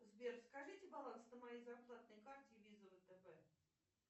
сбер скажите баланс на моей зарплатной карте виза втб